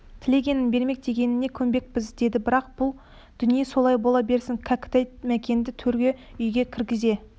тілегенін бермек дегеніне көнбекпіз деді бірақ бұл дүние солай бола берсін кәкітай мәкенді төргі үйге кіргізе